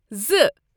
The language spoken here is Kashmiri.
زٕ